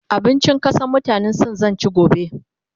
abincin ƙasan mutanan sin zan ci gobe